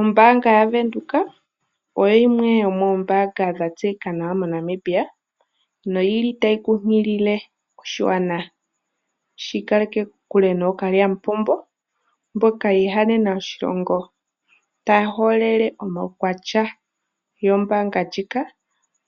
Ombaanga yaVenduka oyo yimwe yomoombaanga dha tseyika nawa moNamibia, noyili tayi nkunkilile oshigwana opo shiikaleke kokule nookalyamupombo mboka yiihanena oshilongo, taya holele omaukwatya gombaanga ndjika